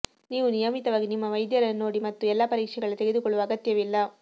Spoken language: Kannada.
ನೀವು ನಿಯಮಿತವಾಗಿ ನಿಮ್ಮ ವೈದ್ಯರನ್ನು ನೋಡಿ ಮತ್ತು ಎಲ್ಲಾ ಪರೀಕ್ಷೆಗಳ ತೆಗೆದುಕೊಳ್ಳುವ ಅಗತ್ಯವಿಲ್ಲ